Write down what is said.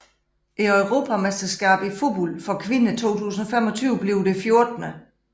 Europamesterskabet i fodbold for kvinder 2025 bliver det 14